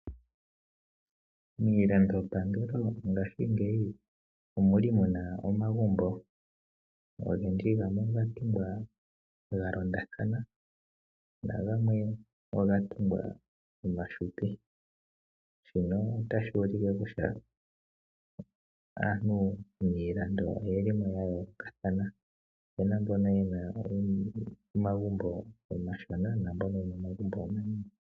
Miilandopangelo ngashingeyi omuli muna omagumbo, ngaashi gamwe oga tungwa ga londathana, nagamwe oga tungwa omafupi. Shino otashi ulike kutya aantu miilando oyeli mo ya yoolokathana. Opuna mbono yena omagumbo omashona, naambono yena omagumbo omanene.